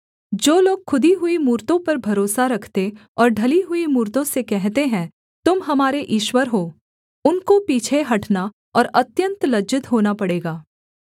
जो लोग खुदी हुई मूरतों पर भरोसा रखते और ढली हुई मूरतों से कहते हैं तुम हमारे ईश्वर हो उनको पीछे हटना और अत्यन्त लज्जित होना पड़ेगा